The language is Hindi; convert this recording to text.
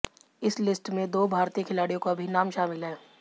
इस लिस्ट में दो भारतीय खिलाड़ियों का भी नाम शामिल है